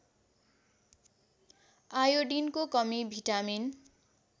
आयोडिनको कमी भिटामिन